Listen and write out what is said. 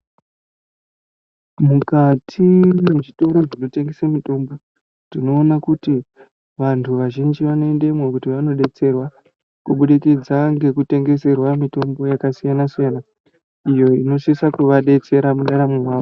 Mukati mezvitoro zvinotengese mitombo, tinowona kuti vantu vazhinji vanendemo kuti vanodetserwa kubudikidza ngekutengeserwa mitombo yakasiyana siyana, iyo inosisa kuvadetsera kunaramangwana.